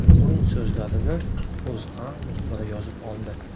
Uning so‘zlarini O‘zA muxbiri yozib oldi .